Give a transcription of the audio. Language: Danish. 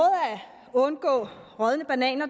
at undgå rådne bananer